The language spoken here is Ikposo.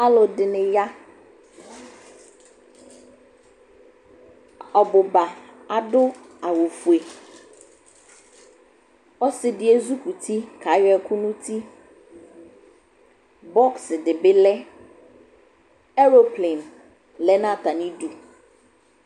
Alʋ dɩnɩ ya, ɔbʋ ba adʋ awʋfue Ɔsɩ dɩ ezikuti kayɔ ɛkʋ nʋ uti Bɔks dɩ bɩ lɛ Eloplen lɛ nʋ atamɩdu